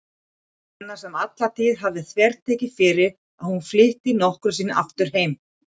Lena sem alla tíð hafði þvertekið fyrir að hún flytti nokkru sinni aftur heim.